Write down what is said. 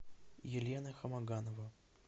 елена хамаганова